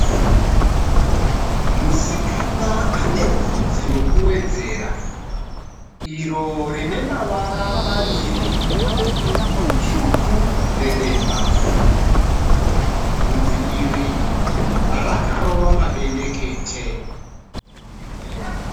Musikana anebvudzi rokuwedzera iro rinemavara maviri dzvuku nedema. Bvudzi iri rakarova mabendekete.